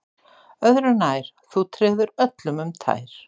Öðru nær, þú treður öllum um tær